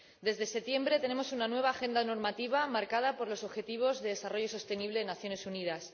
desde septiembre tenemos una nueva agenda normativa marcada por los Objetivos de Desarrollo Sostenible de las Naciones Unidas